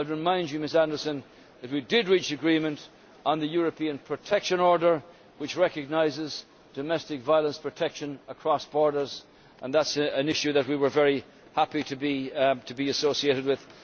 I would remind Ms Anderson that we did reach agreement on the European Protection Order which recognises domestic violence protection across borders and that is an issue that we were very happy to be associated with.